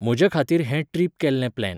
म्हज्या खातीर हें ट्रीप केल्लें प्लेन